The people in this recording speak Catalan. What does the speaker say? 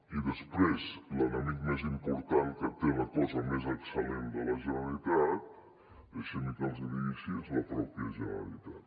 i després l’enemic més important que té la cosa més excel·lent de la generalitat deixi’m que els hi digui així és la pròpia generalitat